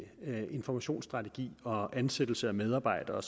informationsstrategi og ansættelse af medarbejdere